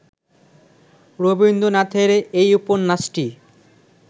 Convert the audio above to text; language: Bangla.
রবীন্দ্রনাথের এই উপন্যাসটি